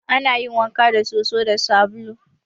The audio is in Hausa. Ana yin wanka da soso da sabulu.